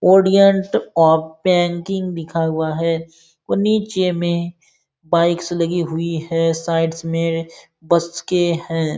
ओदिएन्ट of banking लिखा हुआ है और नीचे में बाइक्स लगी हुई है साइड्स में बस के हैं।